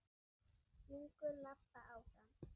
Hringur labba áfram.